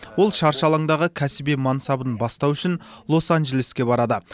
ол шаршы алаңдағы кәсіби мансабын бастау үшін лос анджелеске барады